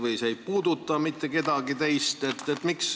Või see ei puuduta mitte kedagi teist?